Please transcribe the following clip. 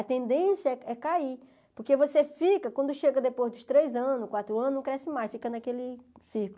A tendência é é cair, porque você fica, quando chega depois dos três anos, quatro anos, não cresce mais, fica naquele círculo.